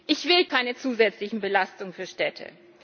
Ich will keine zusätzlichen Belastungen für Städte.